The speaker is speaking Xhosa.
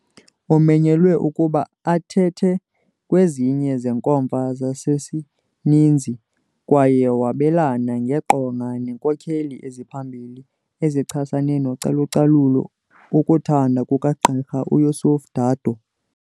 Umenyelwe ukuba athethe kwezinye zeenkomfa zasesininzi kwaye wabelane ngeqonga neenkokheli eziphambili ezichasene nocalucalulo, ukuthanda kukaGqr uYosuf Dadoo